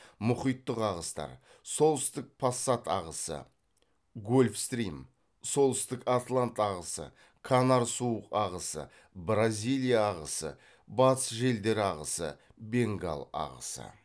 мұхиттық ағыстар солтүстік пассат ағысы гольфстрим солтүстік атлант ағысы канар суық ағысы бразилия ағысы батыс желдер ағысы бенгал ағысы